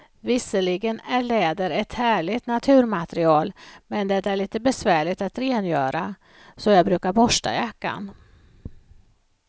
Visserligen är läder ett härligt naturmaterial, men det är lite besvärligt att rengöra, så jag brukar borsta jackan.